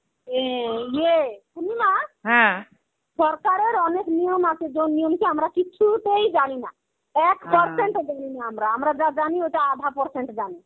এই ইয়ে পূর্নিমা, সরকারের অনেক নিয়ম আছে যে নিয়ম কি আমরা কিছুইতেই জানিনা. এক percent ও জানিনি আমরা আমরা যা জানি ওটা আধা percent জানি.